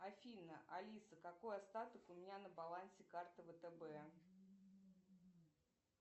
афина алиса какой остаток у меня на балансе карты втб